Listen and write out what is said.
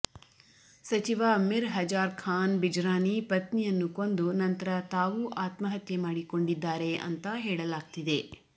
ಸಚಿವ ಮಿರ್ ಹಜಾರ್ ಖಾನ್ ಬಿಜರಾನಿ ಪತ್ನಿಯನ್ನು ಕೊಂದು ನಂತರ ತಾವೂ ಆತ್ಮಹತ್ಯೆ ಮಾಡಿಕೊಂಡಿದ್ದಾರೆ ಅಂತಾ ಹೇಳಲಾಗ್ತಿದೆ